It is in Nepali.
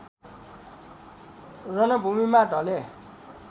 रणभूमिमा ढले